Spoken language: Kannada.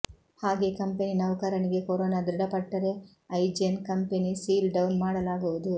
ಹಾಗೇ ಕಂಪೆನಿ ನೌಕರನಿಗೆ ಕೊರೊನಾ ದೃಢಪಟ್ಟರೆ ಐಜೆನ್ ಕಂಪೆನಿ ಸೀಲ್ ಡೌನ್ ಮಾಡಲಾಗುವುದು